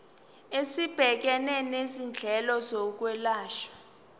esibhekene nezindleko zokwelashwa